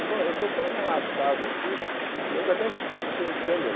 Eu estou estou tão relaxado aqui, que eu até esqueci que tem câmera.